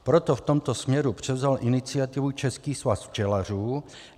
Proto v tomto směru převzal iniciativu Český svaz včelařů.